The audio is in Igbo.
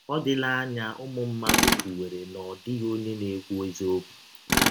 Ọdịla anya ụmụ mmadụ kwụwere na ọ dịghị ọnye na - ekwụ eziọkwụ.